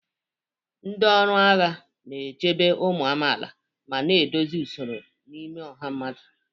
Ndị ọrụ agha na-echebe ụmụ amaala ma na-edozi usoro n'ime ọha mmadụ.